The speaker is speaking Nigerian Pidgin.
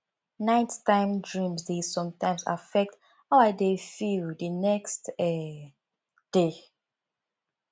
nighttime dreams dey sometimes affect how i dey feel the next um day